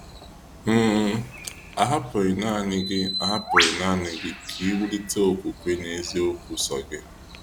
um Ahapụghị nanị gị Ahapụghị nanị gị ka I wulite okwukwe n’eziokwu sọọ gị.